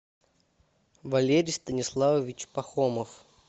валерий станиславович пахомов